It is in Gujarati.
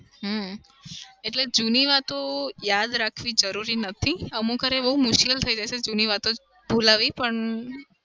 હમ એટલે જૂની વાતો યાદ રાખવી જરૂર નથી. અમુકવાર એ બઉ મુશ્કિલ થઇ જશે જુનું વાતો ભુલાવી પણ